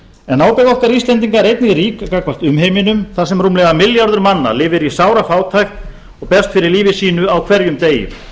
en ábyrgð okkar íslendingar er einnig rík gagnvart umheiminum þar sem rúmlega milljarður manna lifir í sárafátækt og berst fyrir lífi sínu á hverjum degi